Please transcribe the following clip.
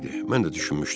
Mən də düşünmüşdüm.